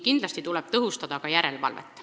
Kindlasti tuleb tõhustada järelevalvet.